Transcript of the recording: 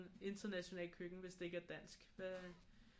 International køkken hvis det ikke er dansk hvad